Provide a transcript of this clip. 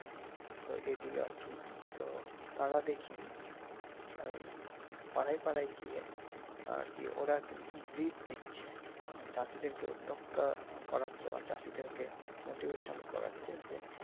তো এইদিকে আর কি তো তারা দেখি ওই পাড়ায় পাড়ায় গিয়ে আর কি ওরা কিন্তু ব্রিড দিচ্ছে মানি চাষিদেরকে উদ্দ্যোগতা করাচ্ছে বা চাষিদেরকে motivation করাচ্ছে যে